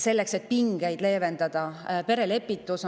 Selleks et pingeid leevendada, on loodud perelepitus.